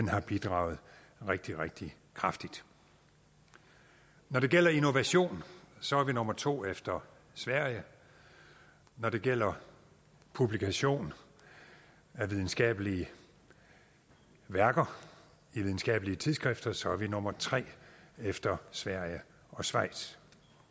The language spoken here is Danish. har bidraget rigtig rigtig kraftigt når det gælder innovation så er vi nummer to efter sverige når det gælder publikation af videnskabelige værker de videnskabelige tidsskrifter så er vi nummer tre efter sverige og schweiz